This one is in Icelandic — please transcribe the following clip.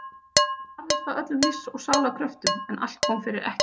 Ég barðist af öllum lífs og sálar kröftum en allt kom fyrir ekki.